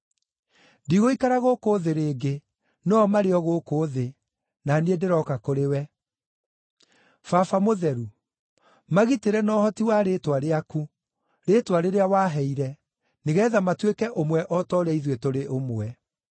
Ndigũikara gũkũ thĩ rĩngĩ, no-o marĩ o gũkũ thĩ, na niĩ ndĩroka kũrĩ wee. Baba Mũtheru, magitĩre na ũhoti wa rĩĩtwa rĩaku, rĩĩtwa rĩrĩa waheire, nĩgeetha matuĩke ũmwe o ta ũrĩa ithuĩ tũrĩ ũmwe.